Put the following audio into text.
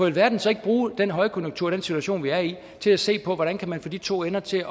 alverden så ikke bruge den højkonjunktur og den situation vi er i til at se på hvordan man kan få de to ender til at